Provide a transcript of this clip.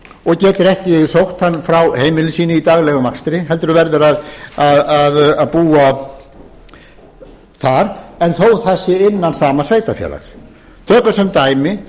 og getur ekki sótt hann frá heimili sínu í daglegum akstri heldur verður að búa þar þó það sé innan sama sveitarfélags tökum sem dæmi